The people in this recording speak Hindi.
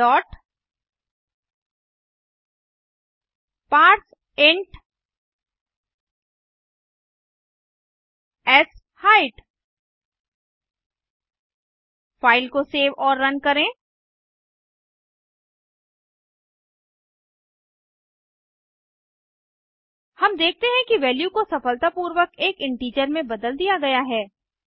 डॉट पारसेंट शाइट फ़ाइल को सेव और रन करें हम देखते हैं कि वैल्यू को सफलतापूर्वक एक इंटीजर में बदल दिया गया है